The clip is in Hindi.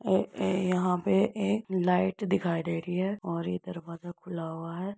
ए ए यहाँ पे एक लाइट दिखाई दे रही है और ये दरवाजा खुला हुआ है।